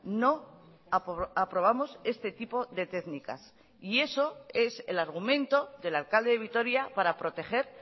no aprobamos este tipo de técnicas y eso es el argumento del alcalde de vitoria para proteger